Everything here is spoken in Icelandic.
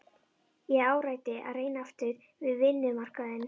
Ég áræddi að reyna aftur við vinnumarkaðinn.